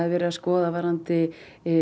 verið að skoða varðandi